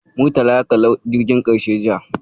Murtala ya kalli "Jirgin Ƙarshe" jiya.